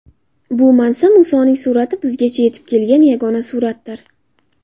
Bu mansa Musoning surati bizgacha yetib kelgan yagona suratdir.